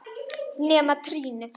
Nema trýnið.